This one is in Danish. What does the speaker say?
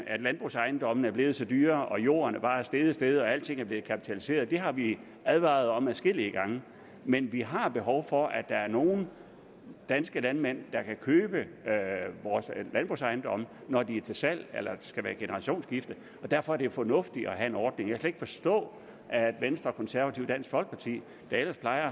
at landbrugsejendommene er blevet så dyre og jorden bare er steget og steget og alting er blevet kapitaliseret det har vi advaret om adskillige gange men vi har behov for at der er nogle danske landmænd der kan købe vores landbrugsejendomme når de er til salg eller skal være generationsskifte og derfor er det fornuftigt at have en ordning jeg kan slet ikke forstå at venstre konservative og dansk folkeparti der ellers plejer at